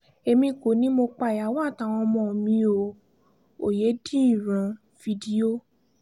èmi kò ní mo pa ìyàwó àtàwọn ọmọ mi o òyedèríran fídíò